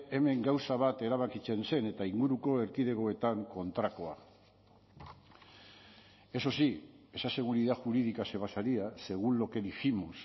hemen gauza bat erabakitzen zen eta inguruko erkidegoetan kontrakoa eso sí esa seguridad jurídica se basaría según lo que dijimos